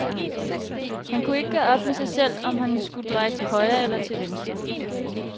Han kunne ikke gøre op med sig selv, om han skulle dreje til højre eller til venstre.